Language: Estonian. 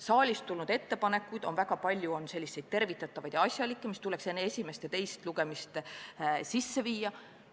Saalist tulnud ettepanekuid on väga palju, sh tervitatavaid ja asjalikke, mis tuleks enne teist lugemist sisse viia.